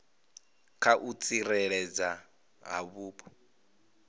kha u tsireledzwa ha vhupo